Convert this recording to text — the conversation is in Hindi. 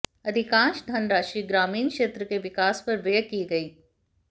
अधिकांश धनराशि ग्रामीण क्षेत्र के विकास पर व्यय की गयी